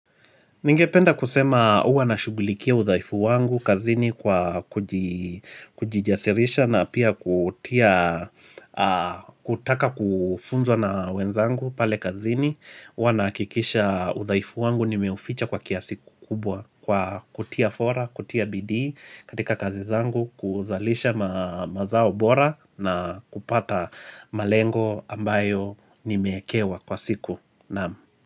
Ningependa kusema huwa nashugulikia udhaifu wangu kazini kwa kujijasirisha na pia kutaka kufunzwa na wenzangu pale kazini. Huwa nahakikisha udhaifu wangu nimeuficha kwa kiasi kukubwa kwa kutia fora, kutia bidii katika kazi zangu kuzalisha mazao bora na kupata malengo ambayo nimeekewa kwa siku.